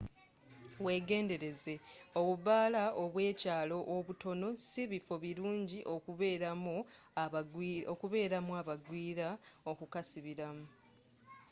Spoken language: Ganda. wegendereze obubaala obw'ekyaalo obutono sibifo biruni okubeeramu abagwira okukasibiramu